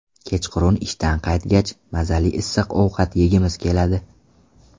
Kechqurun ishdan qaytgach, mazali issiq ovqat yegimiz keladi.